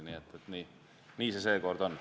Nii see seekord on.